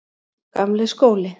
Gamli skóli